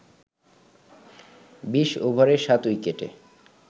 ২০ ওভারে ৭ উইকেটে